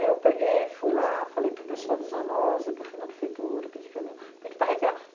Aí eu peguei, fui lá, falei para o pessoal do Zoonoses, depois fui na prefeitura, pedi que, pedi para retirar.